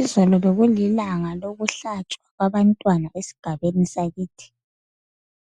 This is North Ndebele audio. Izolo bekulinga elokuhlatshwa kwabantwana esigabeni sakithi.